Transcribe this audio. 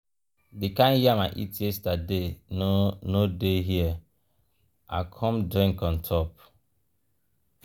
the kind yam i eat yesterday no no dey here i come drink on top.